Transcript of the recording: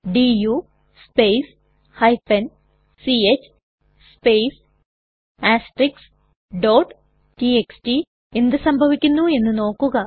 do space ch space txt എന്ത് സംഭവിക്കുന്നു എന്ന് നോക്കുക